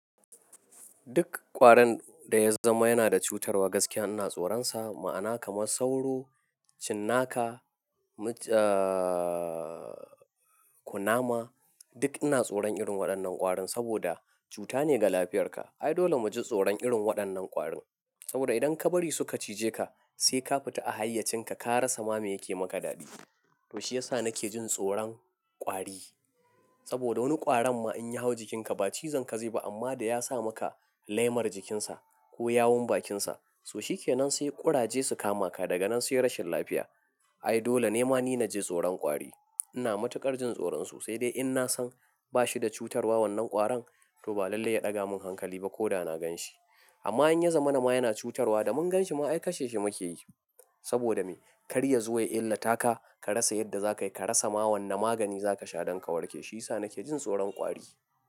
Duk ƙwarin da ya zama yana da cutarwa gaskiya ina tsoronsa. Ma'ana kaman sauro, cinnaka, kunama duk ina tsoron irin waɗannan ƙwarin saboda cuta ne ga lafiyarka. Ai dole mu ji tsoron irin waɗannan ƙwarin saboda idan ka bari suka cije ka sai ka fita a hayyacinka ka rasa ma me yake maka daɗi. To shi ya sa nake jin tsoron ƙwari saboda wani ƙwarin ma in ya hau jikinka ba cizon ka zai ba amma da ya sa maka laimar jikinsa ko yawon bakinsa. To shi ke nan sai ƙuraje su kama ka daga nan sai rashin lafiya. Ai dole ne ma ni na ji tsoron ƙwari. Ina matuƙar jin tsoronsu sai dai in na san bashi da cutarwa wannan ƙwarin to ba lalle ya ɗaga min hankali ba ko da na gan shi. Amma in ya zama na ma yana cutarwa da mun gan shi ma ai kashe shi mu ke yi saboda me? Kar ya zo ya illa taka ka rasa yadda za ka yi, ka rasa ma wanne magani za ka sha don ka warke. Shi ya sa nake jin tsoron ƙwari.